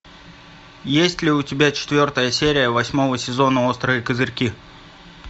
есть ли у тебя четвертая серия восьмого сезона острые козырьки